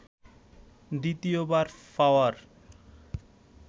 দ্বিতীয়বার পাওয়ার